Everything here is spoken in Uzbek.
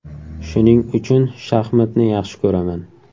Shuning uchun shaxmatni yaxshi ko‘raman.